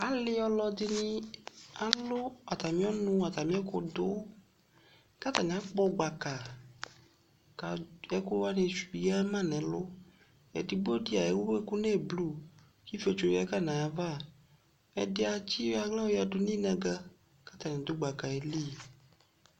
Ale ɔlɔde ne alu atame ɔnu, atame ɛkudo ka atane akpɔ gbaka ka ɛku wane ss yia ma nɛluEdigbo de ewu ɛku no eblu ko ifietso yagu kai navaƐde atse yɔ ahla yɔ yadu no inaga ko atane gbakaɛ li